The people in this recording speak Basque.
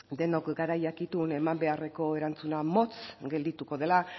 denok gara jakitun eman beharreko erantzuna motz geldituko dela